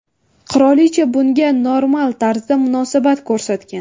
Qirolicha bunga normal tarzda munosabat ko‘rsatgan.